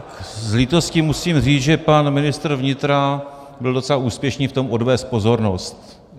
S lítostí musím říct, že pan ministr vnitra byl docela úspěšný v tom odvést pozornost.